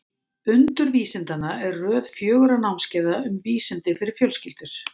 Undur vísindanna er röð fjögurra námskeiða um vísindi fyrir fjölskyldur.